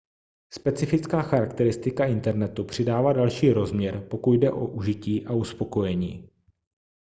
specifická charakteristika internetu přidává další rozměr pokud jde o užití a uspokojení